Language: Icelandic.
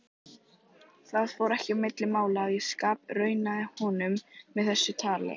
Það fór ekki á milli mála að ég skapraunaði honum með þessu tali.